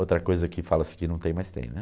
Outra coisa que fala-se que não tem, mas tem, né?